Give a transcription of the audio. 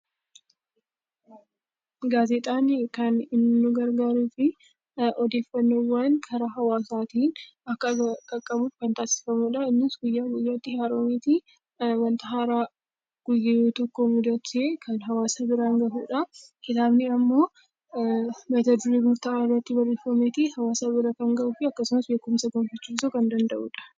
Gaazexaan kan nu gargaaruuf odeeffannoowwan gara hawaasaatiin Akka qaqqabuuf kan taasifamudha. Innis guyyaa guyyaatti wanta haaraa kan hawaasa biraan gahudha. Kitaabni immoo mata duree murtaa'aa irratti kan barreeffamee fi hawaasa bira kan gahudha.